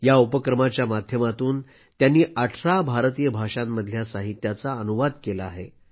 या उपक्रमाच्या माध्यमातून त्यांनी 18 भारतीय भाषांमधल्या साहित्याचा अनुवाद केला आहे